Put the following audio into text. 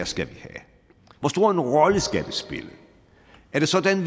skal have hvor stor en rolle det skal spille er det sådan